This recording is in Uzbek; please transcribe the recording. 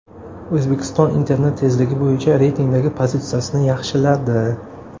O‘zbekiston internet tezligi bo‘yicha reytingdagi pozitsiyasini yaxshiladi.